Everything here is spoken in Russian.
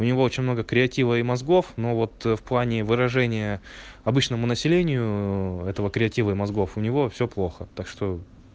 у него очень много креатива и мозгов но вот в плане выражение обычному населению этого креатива и мозгов у него всё плохо так что